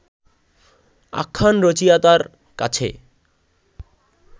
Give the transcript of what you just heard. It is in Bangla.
আখ্যান রচয়িতার কাছে